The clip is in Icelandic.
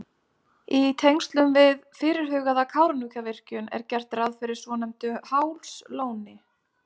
Í tengslum við fyrirhugaða Kárahnjúkavirkjun er gert ráð fyrir svonefndu Hálslóni.